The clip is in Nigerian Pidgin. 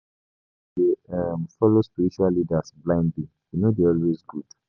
[hiss] Some pipo dey follow spiritual leaders blindly; e no dey always good.